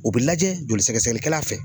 O bi lajɛ joli soɛɛɛɛgɛsɛgɛkɛla fɛ